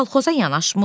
Kolxoza yanaşmır?